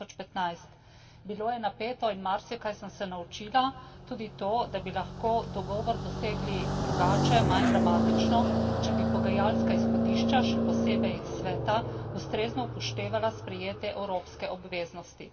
2015. Bilo je napeto in marsikaj sem se naučila, tudi to, da bi lahko dogovor dosegli drugače, manj dramatično, če bi pogajalska izhodišča, še posebej Sveta, ustrezno upoštevala sprejete evropske obveznosti.